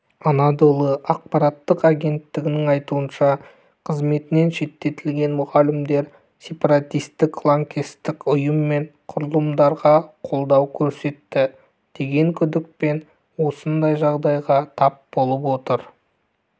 анадолы ақпараттық агенттігінің айтуынша қызметінен шеттетілген мұғалімдер сепаратистік лаңкестік ұйым мен құрылымдарға қолдау көрсетті деген күдікпен осындай жағдайға тап болып отыр